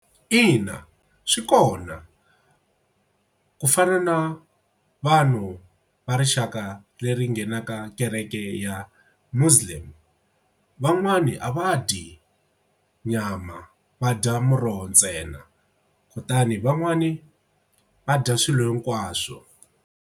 Ina, swi kona ku fana na vanhu va rixaka leri nghenaka kereke ya Muslim. Van'wani a va dyi nyama va dya muroho ntsena kutani van'wani va dya swilo hinkwaswo.